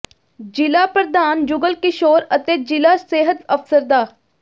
ਜਿਲਾ ਪ੍ਰਧਾਨ ਜੁਗਲ ਕਿਸ਼ੋਰ ਅਤੇ ਜ਼ਿਲਾ ਸਿਹਤ ਅਫ਼ਸਰ ਡਾ